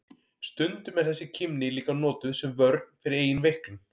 Stundum er þessi kímni líka notuð sem vörn fyrir eigin veiklun.